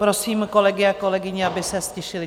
Prosím kolegy a kolegyně, aby se ztišili.